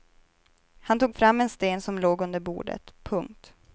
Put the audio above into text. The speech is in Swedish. Han tog fram en sten som låg under bordet. punkt